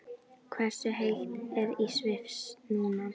Hversu heitt er í Sviss núna?